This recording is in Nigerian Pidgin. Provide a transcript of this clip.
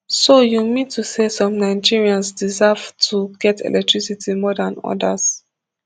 so you mean to say some nigerians deserve to get electricity more dan odas